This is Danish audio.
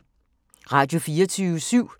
Radio24syv